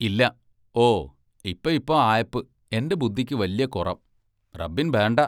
ഇല്ല!- ഓ, ഇപ്പ ഇപ്പ ആയപ്പ് എന്റെ ബുദ്ധിക്ക് വല്യ കുറം റബ്ബിൻ ബേണ്ട.